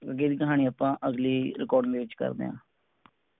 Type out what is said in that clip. ਨਾਲ ਹੀ ਆਪਾਂ ਅਗਲੀ record ਨੂੰ ਕਰਦੇਂ ਆਂ